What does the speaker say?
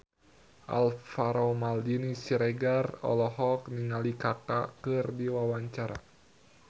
Alvaro Maldini Siregar olohok ningali Kaka keur diwawancara